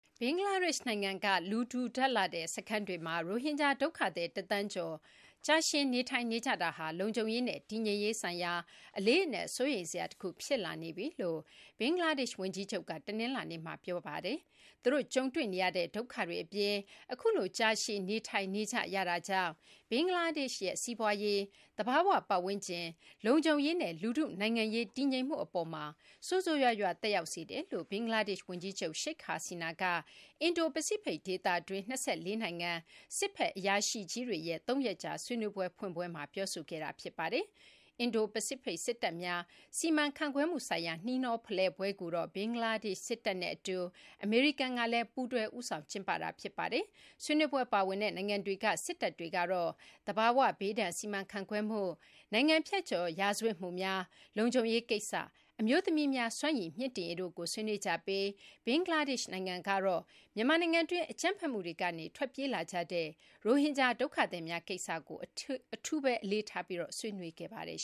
ဘင်္ဂလားဒေရှ့် နိုင်ငံက လူထူထပ်လှတဲ့ စခန်းတွေမှာရိုဟင်ဂျာ ဒုက္ခသည် ၁ သန်းကျော်ကြာရှည် နေထိုင်နေကြတာဟာ လုံခြုံရေးနဲ့ တည်ငြိမ်ရေးဆိုင်ရာ အလေးအနက် စိုးရိမ်စရာတခု ဖြစ်လာနေပြီလို့ ဘင်္ဂလားဒေရှ့် ဝန်ကြီးချုပ်က တနလာၤနေ့မှာ ပြောဆိုလိုက်ပါတယ်။ သူတို့ ကြုံတွေ့နေရတဲ့ ဒုက္ခတွေ အပြင် အခုလိုကြာရှည် နေထိုင်နေကြရတာကြောင့် ဘင်္ဂလားဒေရှ့်ရဲ့ စီးပွားရေး၊ သဘာ၀ ပတ်ဝန်းကျင်၊ လုံခြုံရေးနဲ့ လူထု နိုင်ငံရေး တည်ငြိမ်မှု အပေါ်မှာ ဆိုးဆိုးရွားရွား သက်ရောက်စေတယ်လို့ ဘင်္ဂလားဒေရှ့် ဝန်ကြီးချုပ် Sheikh Hasina က အင်ဒိုပစိဖိတ် ဒေသတွင်း ၂၄ နိုင်ငံက စစ်ဘက် အရာရှိကြီးတွေရဲ့ ၃ ရက်ကြာ ဆွေးနွေးပွဲ ဖွင့်ပွဲမှာ ပြောဆိုခဲ့တာပါ။ အင်ဒိုပစိဖိတ် စစ်တပ်များ စီမံခန့်ခွဲမှု ဆိုင်ရာ နှီးနှောဖလှယ်ပွဲကိုတော့ ဘင်္ဂလားဒေရှ့် စစ်တပ်နဲ့ အတူ အမေရိကန်ကလည်း ပူးတွဲ ဦးဆောင် ကျင်းပတာ ဖြစ်ပါတယ်။ ဆွေးနွေးပွဲ ပါဝင်တဲ့ နိုင်ငံတွေက စစ်တပ်တွေကတော့ သဘာဝဘေးဒဏ် စီမံခန့်ခွဲမှု၊ နိုင်ငံဖြတ်ကျော် ရာဇဝတ်မှုများ၊ လုံခြုံရေး ကိစ္စ၊ အမျိုးသမီးများ စွမ်းရည် မြှင့်တင်ရေးတို့ကို ဆွေးနွေးကြပြီး ဘင်္ဂလားဒေရှ့် နိုင်ငံကတော့ မြန်မာနိုင်ငံတွင်း အကြမ်းဖက်မှုတွေကနေ ထွက်ပြေးလာကြတဲ့ ရိုဟင်ဂျာ ဒုက္ခသည်မျာ ကိစ္စကို အထူး အလေးထားပြီး ဆွေးနွေးပါတယ်